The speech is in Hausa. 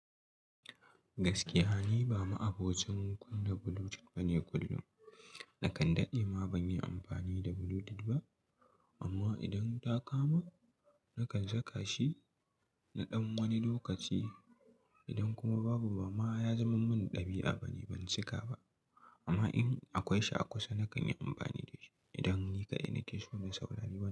Gaskiya ni, ba ma abocin kunna Bluetooth bane kullum. Na kan daɗe ma ban yi amfani da Bluetooth ba. Amma idan ta kama, na kan saka shi na ɗan wani lokaci. Idan kuma babu, ba ma ya zaman min ɗabi'a bane. Ban cika ba. Amma in akwai shi a kusa, na kan yi amfani da shi. Idan ni kaɗai nake so na saurari waƙa.